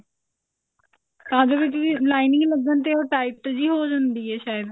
ਵੀ lining ਲੱਗਣ ਤੇ ਉਹ tight ਜੀ ਹੋ ਜਾਂਦੀ ਹੈ ਸ਼ਾਇਦ